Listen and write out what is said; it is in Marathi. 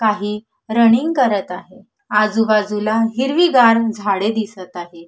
काही रनिग करत आहेआजूबाजूला हिरवीगार झाडे दिसत आहेत.